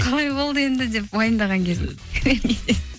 қалай болды енді деп уайымдаған кезіңіз